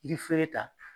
Yiri feere ta